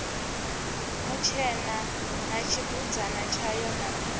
mutshena na tshibudzana tshayo na